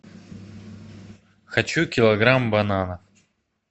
хочу килограмм бананов